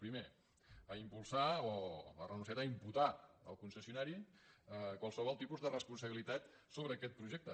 primer ha re·nunciat a imputar al concessionari qualsevol tipus de responsabilitat sobre aquest projecte